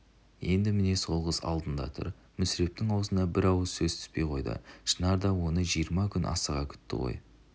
енді міне сол қыз алдында тұр мүсірептің аузына бір ауыз сөз түспей қойды шынар да оны жиырма күн асыға күтті ғой